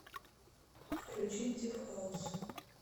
включить дип хаус